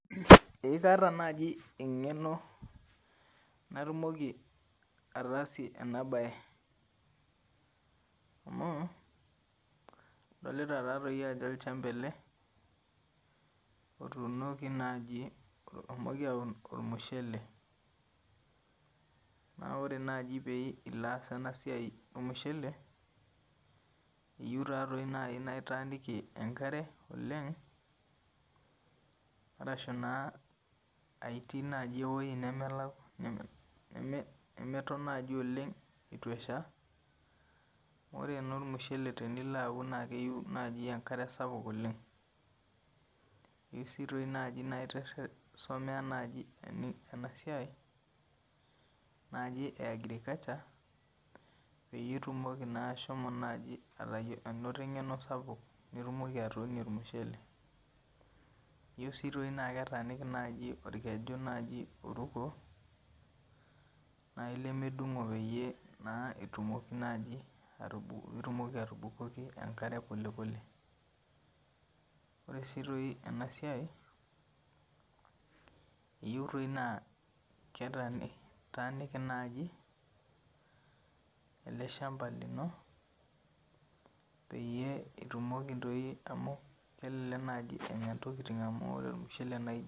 Eee kaata naaji eng'eno natumoki ataasie ena baye. Amu adolita taatoi ajo olchamba ele, otuunoki naaji oshomoki aun olmushele. Naa ore naaji pee ilo aas ena siai olmushele, eyou naa naaji toi naa itaaniki enkare oleng' ashu naa aa itii naaji ewueji nemeton eitu esha. Ore naa naaji olmushele tenilo aun naaji akare ssapuk oleng' , eyou taa naaji naa isomea ena siai naaji e Agricalture, peyie itumoki naaji ashomo ainoto eng'eno sapuk nitumoki atuunie olmushele. Eyiou dii naaji naa etaaniki naaji olkeju naaji oruko, naaji lemedung'o naa pee itilaki atubukoki enkare oleng'. Ore sii toi ena siai eyou trei naa etaaniki naaji ele chamba lino peyie itumoki doi amu elelek naaji enya intokini amu ore olmushele naa.